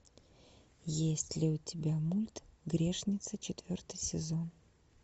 есть ли у тебя мульт грешница четвертый сезон